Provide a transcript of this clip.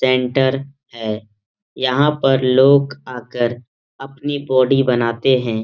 Centre है यहाँ पर लोग आकर अपनी बॉडी बनाते हैं।